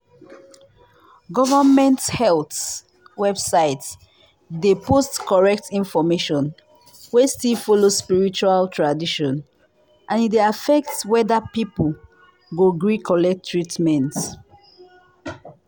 government health website dey post correct information wey still follow spiritual tradition and e dey affect whether people go gree collect treatment.